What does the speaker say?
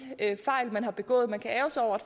fejl man har begået man kan ærgre sig over